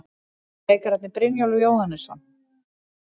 Leikararnir, Brynjólfur Jóhannesson